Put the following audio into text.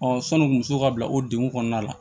sɔni muso ka bila o denw kɔnɔna la